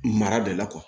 Mara de la